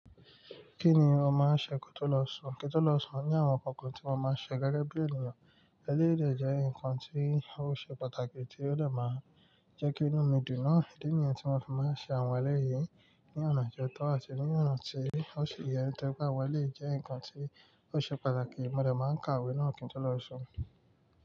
Kí ni ó máa ń ṣe kí ó tó lọ sùn? Kí tó lọ sùn o ní àwọn nǹkan kan tí mo máa ń ṣe gẹ́gẹ́ bí ènìyàn. Eléyìí dẹ́ nǹkan tí ó ṣe pàtàkì tí ó dè máa jẹ́ kí inú mi dùn. Náà, idi nìyẹn tí mo fi máa ń ṣe àwọn ẹlẹ́yìí ní ọ̀nà tó tọ́ àti ní ọ̀nà tí ó ṣi yẹ. Ẹni tó bá wẹ lé jẹ́ nǹkan tí ó ṣe pàtàkì mo lè máa ń kàwé náà kí n tó lọ sùn.